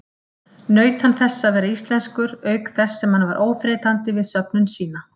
Naut hann þess að vera íslenskur auk þess sem hann var óþreytandi við söfnun sína.